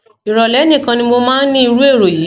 ìrọlẹ nìkan ni mo máa ń ní irú èrò yìí